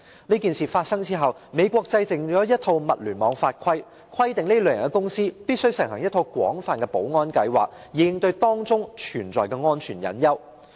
這事件發生後，美國制定了一套物聯網法例，規定這類公司必須實行一套廣泛的保安計劃，以應對當中存在的安全隱患。